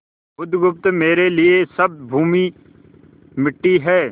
बुधगुप्त मेरे लिए सब भूमि मिट्टी है